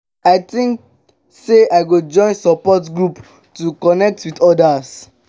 i dey think sey i go join support group to connect with others.